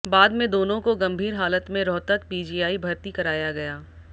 बाद में दोनों को गंभीर हालत में रोहतक पीजीआई भर्ती कराया गया